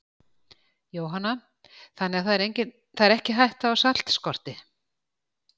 Jóhanna: Þannig það er ekki hætta á saltskorti?